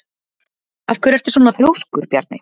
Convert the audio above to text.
Af hverju ertu svona þrjóskur, Bjarney?